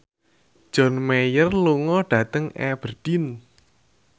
John Mayer lunga dhateng Aberdeen